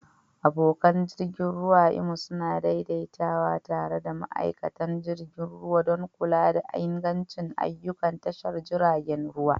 Abokan jirgi ruwa a Imo suna daidaitawa tare da ma'aikatan jirgin ruwa don kula da ingancin ayyukan tashar jiragen ruwa.